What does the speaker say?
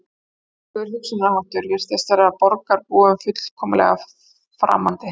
Þvílíkur hugsunarháttur virtist vera borgarbúum fullkomlega framandi